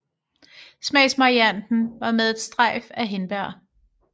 Smagsvarianten var med et strejf af hindbær